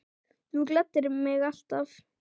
Þú gladdir mig alltaf.